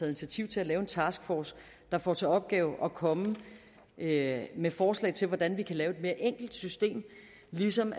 initiativ til at lave en taskforce der får til opgave at komme med med forslag til hvordan vi kan lave et mere enkelt system og ligesom